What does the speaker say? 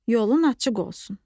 Yolun açıq olsun.